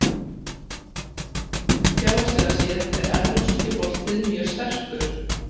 Fjárhagslega séð er Evrópski boltinn mjög sterkur.